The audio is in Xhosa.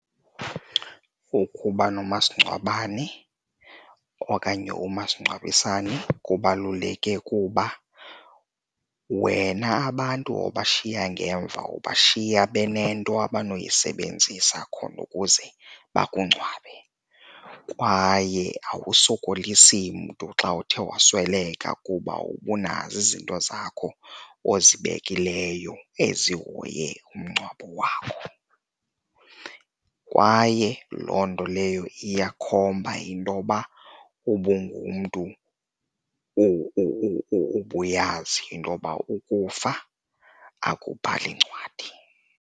Ukuba nomasingcwabane okanye umasingcwabisane kubaluleke kuba wena abantu obashiya ngemva ubashiya benento abanoyisebenzisa khona ukuze bakungcwabe kwaye awusokolisi mntu xa uthe wasweleka kuba ubunazo izinto zakho ozibekileyo ezihoye umngcwabo wakho. Kwaye loo nto leyo iyakhomba intoba ubungumntu ubuyazi intoba ukufa akubhali ncwadi.